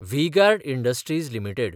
V-Guard Industries limited